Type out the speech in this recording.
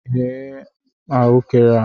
Ghee re m ahụekere a!